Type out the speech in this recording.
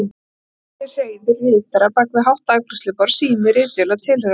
Í horni hreiður ritara bak við hátt afgreiðsluborð, sími, ritvél og tilheyrandi.